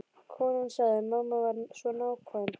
Konan sagði: Mamma var svo nákvæm.